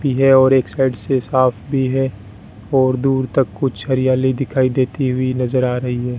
की है और एक साइड से साफ भी है और दूर तक कुछ हरियाली दिखाई देती हुई नजर आ रही है।